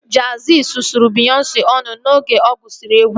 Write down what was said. Jey-Z sụsụrụ Beyonce ọnụ oge ọ gụsiri egwu